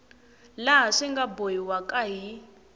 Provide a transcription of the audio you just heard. laha swi nga bohiwaka hi